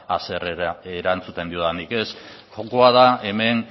haserre erantzuten diodanik kontua da hemen